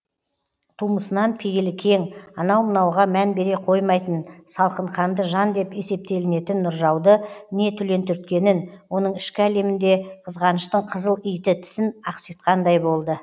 тумысынан пейілі кең анау мынауға мән бере қоймайтын салқынқанды жан деп есептелінетін нұржауды не түлен түрткенін оның ішкі әлемінде қызғаныштың қызыл иті тісін ақситқандай болды